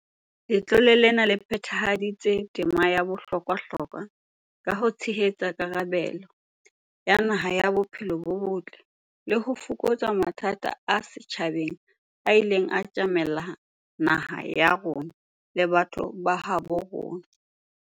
"Letlole lena le phethahaditse tema ya bohlokwahlokwa ka ho tshehetsa karabelo ya naha ya bophelo bo botle le ho fokotsa mathata a setjhaba a ileng a tjamela naha ya rona le batho ba habo rona."